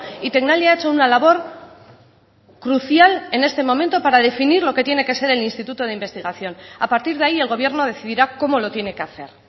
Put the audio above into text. y tecnalia ha hecho una labor crucial en este momento para definir lo que tiene que ser el instituto de investigación a partir de ahí el gobierno decidirá cómo lo tiene que hacer